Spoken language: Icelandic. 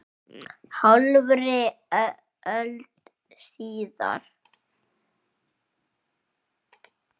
Hálfri öld síðar.